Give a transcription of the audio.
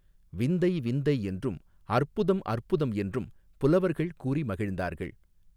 விந்தை விந்தை என்றும் அற்புதம் அற்புதம் என்றும் புலவர்கள் கூறி மகிழ்ந்தார்கள்.